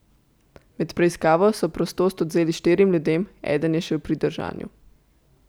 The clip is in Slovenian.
Med preiskavo so prostost odvzeli štirim ljudem, eden je še v pridržanju.